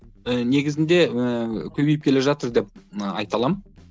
і негізінде ііі көбейіп келе жатыр деп і айта аламын